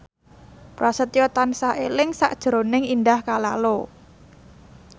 Prasetyo tansah eling sakjroning Indah Kalalo